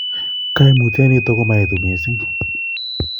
Koimutioniton komoetu missing'